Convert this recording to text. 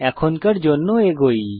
এখনকার জন্য এগোই